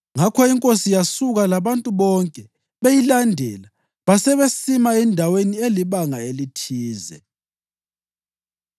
Ngakho inkosi yasuka, labantu bonke beyilandela, basebesima endaweni elibanga elithize.